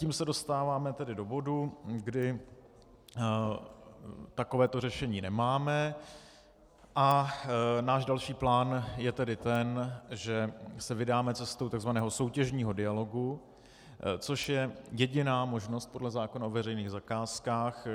Tím se dostáváme tedy do bodu, kdy takovéto řešení nemáme a náš další plán je tedy ten, že se vydáme cestou takzvaného soutěžního dialogu, což je jediná možnost podle zákona o veřejných zakázkách.